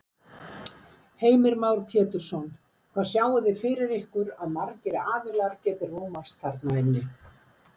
Heimir Már Pétursson: Hvað sjáið þið fyrir ykkur að margir aðilar geti rúmast þarna inni?